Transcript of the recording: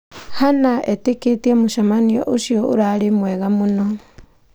Hannah etĩkĩkĩtie mũcemanio ũcio ũrarĩ mwega mũno.